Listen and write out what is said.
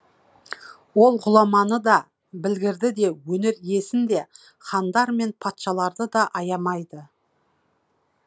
ол ғұламаны да білгірді де өнер иесін де хандар мен патшаларды да аямайды